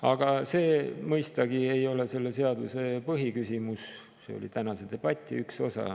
Aga see mõistagi ei ole selle seadus põhiküsimus, see oli tänase debati üks osa.